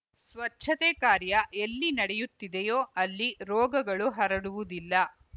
ಸ್ವಚ್ಛತೆ ಕಾರ್ಯ ಎಲ್ಲಿ ನಡೆಯುತ್ತಿದೆಯೋ ಅಲ್ಲಿ ರೋಗಗಳು ಹರಡುವುದಿಲ್ಲ